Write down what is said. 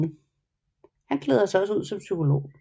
Han klæder sig også ud som psykolog